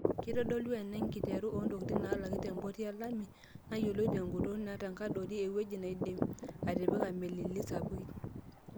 Kitodolu ena enkiteru oontokitin naalaki tempoti e Lamu, nayoloi tengutun otenkadoro eweji naaidim atipika melii sapukin.